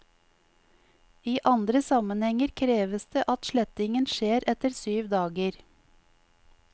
I andre sammenhenger kreves det at slettingen skjer etter syv dager.